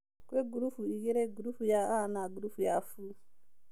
Kwĩ gurubu igĩrĩ, gurubu ya A na gurubu ya B